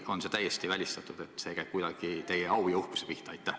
Või on see täiesti välistatud, see käib kuidagi teie au ja uhkuse pihta?